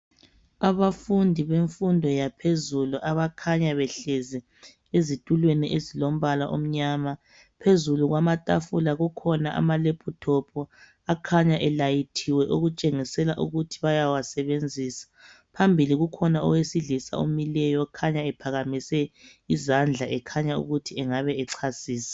Abafundi bemfundo yaphezulu. Abakhanya behlezi ezitulweni ezilombala omnyama. Phezulu kwamatafula kukhona amalaptop. Akhanya elayithiwe, okutshengisela ukuthi bayawasebenzisa. Phambili kukhona owesilisa, omileyo. Okhanya ephakamise uzandla, ekhanya ukuthi angabe echasisa.